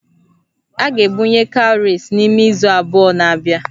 A ga-ebunye cowries n'ime izu abụọ na-abịa